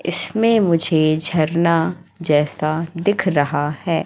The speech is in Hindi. इसमें मुझे झरना जैसा दिख रहा है।